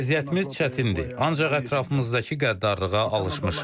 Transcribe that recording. Vəziyyətimiz çətindir, ancaq ətrafımızdakı qəddarlığa alışmışıq.